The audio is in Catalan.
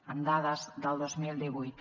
amb dades del dos mil divuit